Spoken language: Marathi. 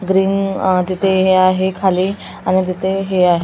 ग्रीन तिथे हे आहे खाली आणि तिथे हे आहे.